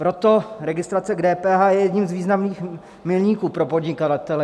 Proto registrace k DPH je jedním z významných milníků pro podnikatele.